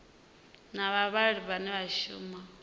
na vhavhali vhane vha shumisa